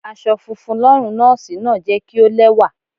Aṣọ funfun lọ́rùn Nọ́ọ́sì náà jẹ́ kí ó lẹ́wà.